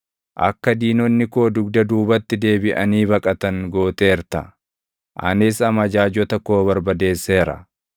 Akka diinonni koo dugda duubatti deebiʼanii baqatan gooteerta; anis amajaajota koo barbadeesseera.